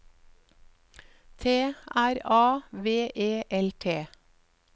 T R A V E L T